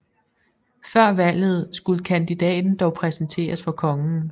Før valget skulle kandidaten dog præsenteres for kongen